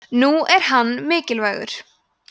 nú er hann mikilvægur